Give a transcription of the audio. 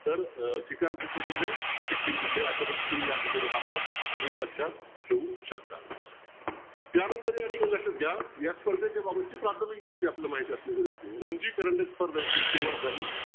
तर अं ठिकाण कुठलं दिलेलं आहे सिक्कीम दिलय अशा ठिकाणी तुम्ही हा भाग तुम्ही लक्षत ठेऊ शकता त्यानंतर या ठिकाणी लक्ष्यात घ्या या स्पर्धे बाबतची प्राथमिक माहिती आपल्याला माहित असणं गरजेचं आहे रणजित स्पर्धांची सुरवात झाली